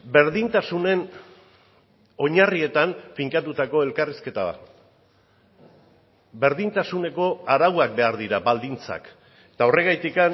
berdintasunen oinarrietan finkatutako elkarrizketa bat berdintasuneko arauak behar dira baldintzak eta horregatik